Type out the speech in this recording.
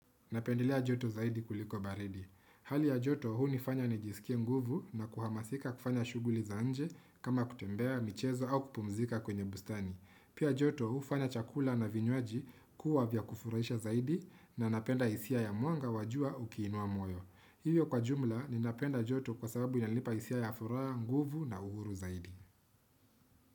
Napendelea joto zaidi kuliko baridi. Hali ya joto huu nifanya nijisikie nguvu na kuhamasika kufanya shughuli za nje kama kutembea, michezo au kupumzika kwenye bustani. Pia joto huu fanya chakula na vinywaji kuwa vya kufuraisha zaidi na napenda isia ya mwanga wa jua ukiinua moyo. Hiyo kwa jumla ninapenda joto kwa sababu inalipa isia ya furaha, nguvu na uhuru zaidi.